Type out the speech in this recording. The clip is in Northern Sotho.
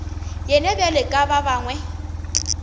yena bjalo ka ba bangwe